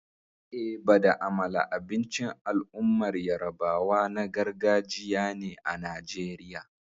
Eba da amala abincin al'ummar yarabawa na gargajiya ne a Najeriya.